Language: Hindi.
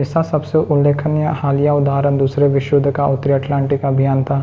इसका सबसे उल्लेखनीय हालिया उदाहरण दूसरे विश्वयुद्ध का उत्तरी अटलांटिक अभियान था